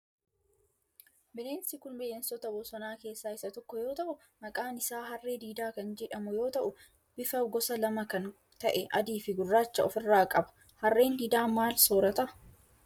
Bineensi kun bineensota bosonaa keessaa isa tokko yoo ta'u maqaan isaa harree diidaa kan jedhamu yoo ta'u bifa gosa lama kan ta'e adii fi gurraacha of irra qaba. harreen diidaa maal soorata?